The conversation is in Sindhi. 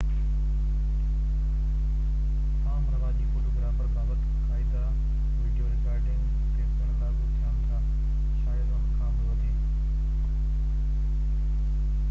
عام رواجي فوٽوگرافي بابت قاعدا وڊيو رڪارڊنگ تي پڻ لاڳو ٿين ٿا شايد ان کان بہ وڌيڪ